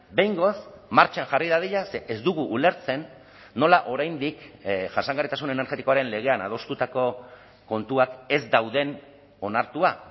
behingoz martxan jarri dadila ze ez dugu ulertzen nola oraindik jasangarritasun energetikoaren legean adostutako kontuak ez dauden onartua